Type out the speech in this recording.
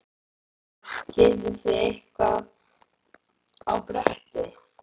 Hödd: Getið þið eitthvað á bretti?